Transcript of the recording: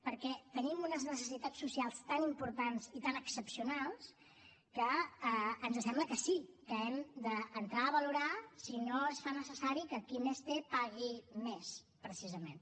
perquè tenim unes necessitats socials tan importants i tan excepcionals que ens sembla que sí que hem d’entrar a valorar si no es fa necessari que qui més té pagui més precisament